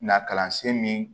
Na kalansen min